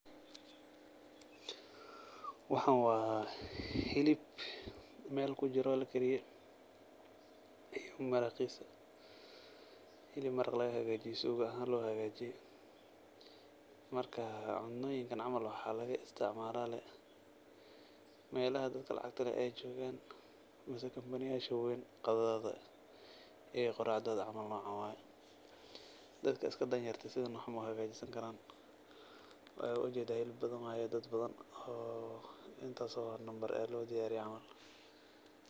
Waxaan waa hilib meel kujiro lakariyay. Hilib iyo maraqiisa. Hilib, maraq laga hegaajiyay suuga ahaan loo hegaajiyay. Marka, cunooyinkan camal waxaa laga istacmaalaa lay meelaha dadka lacagta leh ay joogan, kampaniyaasha waweyn qadadooda iyo qoracdooda camal noocan waay. Dadka iska dhanyerta ah sidan wax uma hegaajisankaraan. Waayo waa ujeedaa hilib badan waay dad badan oo intaas oo lambar eh loo diyaariray camal.